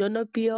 জনপ্ৰিয়